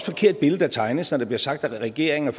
forkert billede der tegnes når der bliver sagt at regeringen